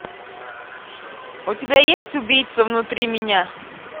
у тебя есть убийца внутри меня